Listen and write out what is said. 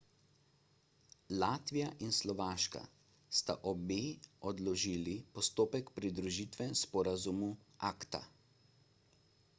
latvija in slovaška sta obe odložili postopek pridružitve sporazumu acta